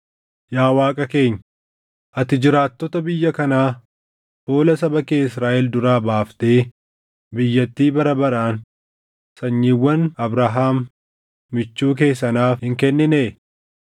Yaa Waaqa keenya, ati jiraattota biyya kanaa fuula saba kee Israaʼel duraa baaftee biyyattii bara baraan sanyiiwwan Abrahaam michuu kee sanaaf hin kenninee?